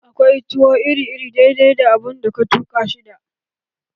Akwai tuwo iri iri dai dai da abun da ka tuka shi da